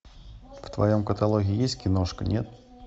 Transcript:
в твоем каталоге есть киношка нет